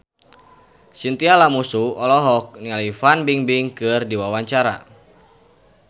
Chintya Lamusu olohok ningali Fan Bingbing keur diwawancara